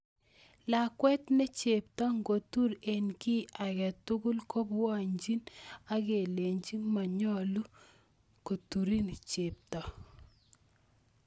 Lakwet ne chepto ngotur eng kiy age tugul kebolchini akelech monyolu koturin chepto